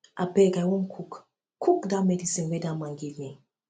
abeg i wan cook wan cook dat medicine dat man give me